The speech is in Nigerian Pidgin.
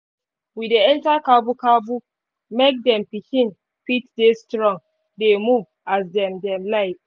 we dey enter cabu cabu make dem pikin fit dey strong dey move as dem dem like